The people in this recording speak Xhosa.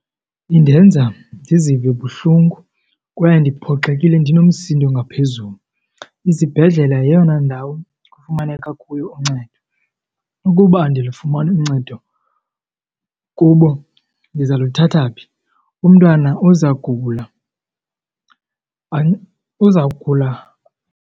Indenza ndizive buhlungu kwaye ndiphoxekile ndinomsindo ngaphezulu. Izibhedlele yeyona ndawo kufumaneka kuyo uncedo. Ukuba andilufumani uncedo kubo ndiza luthatha phi? Umntwana uzagula , uzawugula.